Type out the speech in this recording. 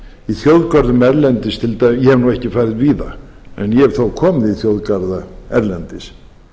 í þjóðgörðum erlendis til dæmis ég hef ekki farið víða en ég hef þó komið í þjóðgarða erlendis